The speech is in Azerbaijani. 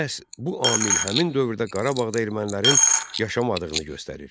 Məhz bu amil həmin dövrdə Qarabağda ermənilərin yaşamadığını göstərir.